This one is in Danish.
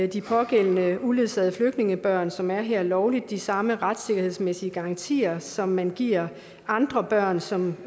de pågældende uledsagede flygtningebørn som er her lovligt de samme retssikkerhedsmæssige garantier som man giver andre børn som